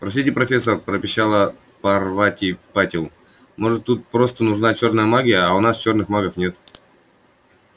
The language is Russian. простите профессор пропищала парвати патил может тут просто нужна чёрная магия а у нас черных магов нет